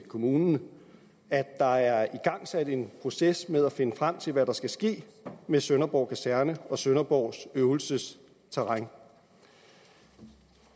kommunen at der er igangsat en proces med at finde frem til hvad der skal ske med sønderborg kaserne og sønderborgs øvelsesterræn